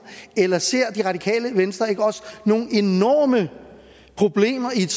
eller ser det radikale venstre ikke også nogle enorme problemer i et